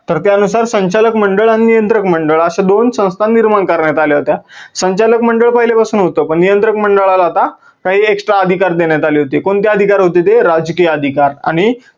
तर त्या नुसार संचालक मंडळ आणि नियंत्रक मंडळ अशा दोन संस्था निर्माण करण्यात आल्या होत्या. संचालक मंडळ पहीले पासून होतं पण नियंत्रक मंडळाला आता काही extra अधिकार देण्यात आले होते. कोणते अधिकार होते ते? राजकीय अधिकार आणि